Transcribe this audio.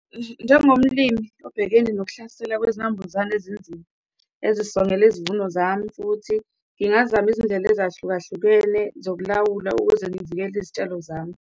Njengomlimi obhekene nokuhlasela kwezinambuzane ezinzima ezisongela izivuno zami futhi, ngingazama izindlela ezahlukahlukene zokulawula ukuze ngivikele izitshalo zami.